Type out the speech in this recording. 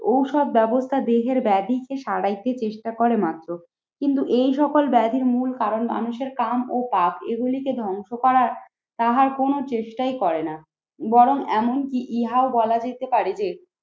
ঔষধ ব্যবস্থা দেহের ব্যাধিকে সারাইতে চেষ্টা করে মাত্র কিন্তু এই সকল ব্যাধির মূল কারণ মানুষের কাম ও পাপ। এগুলিকে ধ্বংস করা তাহার কোন চেষ্টাই করে না বরং এমনকি ইহাও বলা যেতে পারে যে